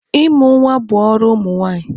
Ịmụ nwa bụ ọrụ ụmụ nwaanyị.